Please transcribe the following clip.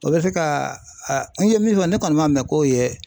O bɛ se ka n ye min fɔ ne kɔni m'a mɛn k'o ye